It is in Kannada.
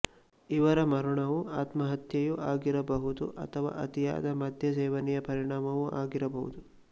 ಇವರ ಮರಣವು ಆತ್ಮಹತ್ಯೆಯೂ ಆಗಿರಬಹುದು ಅಥವಾ ಅತಿಯಾದ ಮದ್ಯಸೇವನೆಯ ಪರಿಣಾಮವೂ ಆಗಿರಬಹುದು